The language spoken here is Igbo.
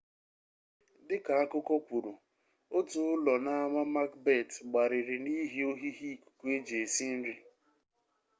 dị ka akụkọ kwuru otu ụlọ n'ama makbet gbariri n'ihi ohihi ikuku eji esi nri